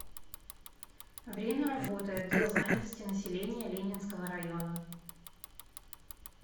время работы отдел занятости населения ленинского района